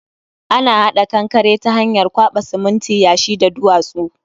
Ana hada kankare ta hanyar kwaba siminti, yashi da duwatsu